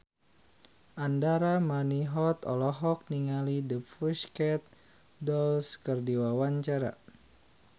Andra Manihot olohok ningali The Pussycat Dolls keur diwawancara